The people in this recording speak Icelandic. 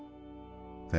þetta